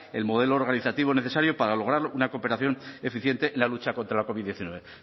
el modelo organizativo necesario para lograr una cooperación eficiente en la lucha contra la covid hemeretzi